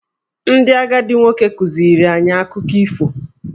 Ndị agadi nwoke kụziiri anyị akụkọ ifo.